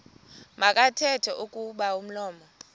makathethe kuba umlomo